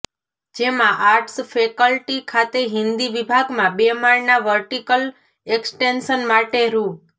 જેમાં arts faculty ખાતે હિન્દી વિભાગમાં બે માળના વર્ટિકલ એક્સટેન્શન માટે રૂા